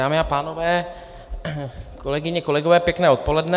Dámy a pánové, kolegyně, kolegové, pěkné dopoledne.